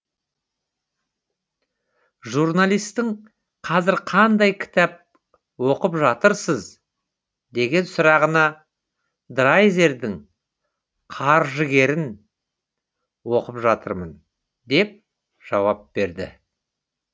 журналистің қазір қандай кітап оқыпжатырсыз деген сұрағына драйзердің қаржыгерін оқып жатырмын деп жауапберді